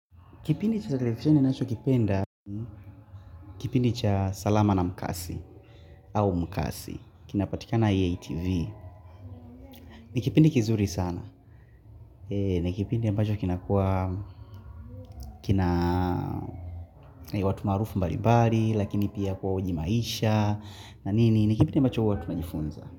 Kipindi cha salama na mkasi, au mkasi, kinapatika na EATV, ni kipindi kizuri sana, ni kipindi ambacho kinakuwa, kina watu maarufu mbali mbali, lakini pia kuwa ujimaisha, na nini, ni kipindi ambacho huwa tunajifunza.